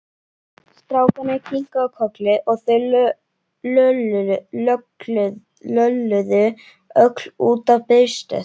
Strákarnir kinkuðu kolli og þau lölluðu öll út á biðstöð.